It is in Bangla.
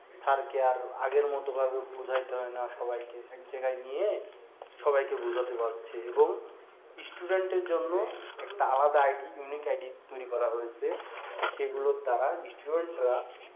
SIR কে আর আগের মত বোঝাই হয়না সবাইকে এক জায়গায় নিয়ে সবাইকে বোঝাতে পারছে এবং student এর জন্য একটা ID unique ID তৈরি করা হয়েছে সেগুলোর দ্বারা student রা